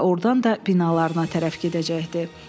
Ordan da binalarına tərəf gedəcəkdi.